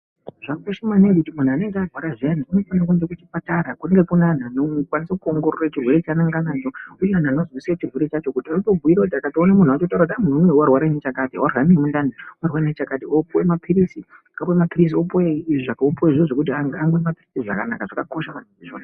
Zvakakosha maningi kuti munhu anenge arwara zviyani anofanira kuenda kuchipatara Kunenge kune anhu vanokwanise kuwongorora chirwere Chaanenge anacho uye vanhu vanosise chirwere chaanacho votomubhuyire Munhu wacho kuti uyu warwara nechakati ,warwara mundani, opiwe mapirisi opiwe zvinhu zvekuti anwe mapirisi zvakanaka .zvakakosha